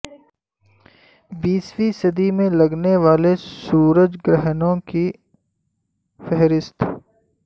بیسویں صدی میں لگنے والے سورج گرہنوں کی فہرست